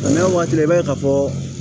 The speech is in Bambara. Nka n'a waati i b'a ye ka fɔ